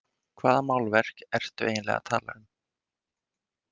Hvaða málverk ertu eiginlega að tala um?